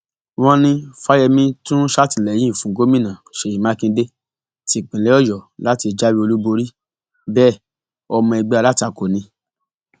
wọn ní fáyemí tún sàtìlẹyìn fún gómìnà ṣèyí mákindè tìpínlẹ ọyọ láti jáwé olúborí bẹẹ ọmọ ẹgbẹ alátakò ni